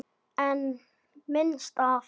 En minnst af?